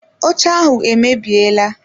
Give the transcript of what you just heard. Oche ahụ emebiela.